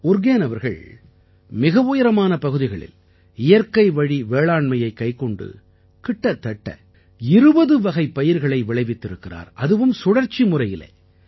உர்கேன் அவர்கள் மிக உயரமான பகுதிகளில் இயற்கைவழி வேளாண்மையைக் கைக்கொண்டு கிட்டத்தட்ட 20 வகைப் பயிர்களை விளைவித்திருக்கிறார் அதுவும் சுழற்சி முறையிலே